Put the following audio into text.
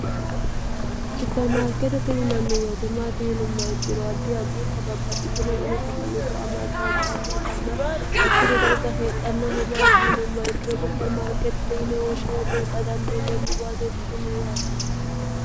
supermaarkeeti tiyinanni wayitemaati yinumma ikkiro addi addiintababbaxitinodani sagalubba amaddantannotanna hakkicho darga heexxannoho maati yinumma ikkiro supermarkeeti tiyine woshshawe buuxxa dandiineemmoboaseetitiniyyaate